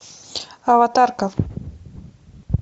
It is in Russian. аватарка